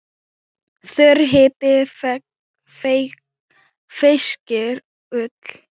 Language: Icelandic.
Þurr hiti feyskir ull.